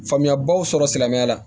Faamuyabaw sɔrɔ silamɛya la